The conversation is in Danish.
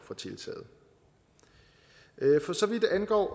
for tiltaget for så vidt angår